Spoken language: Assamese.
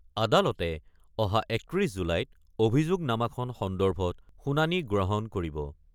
আদালতে অহা ৩১ জুলাইত অভিযোগনামাখন সন্দৰ্ভত শুনানী গ্ৰহণ কৰিব।